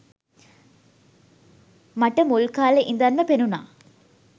මට මුල් කාලෙ ඉඳන්ම පෙනුනා